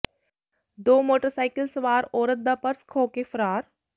ਦੋ ਮੋਟਰਸਾਈਕਲ ਸਵਾਰ ਔਰਤ ਦਾ ਪਰਸ ਖੋਹ ਕੇ ਫ਼ਰਾਰ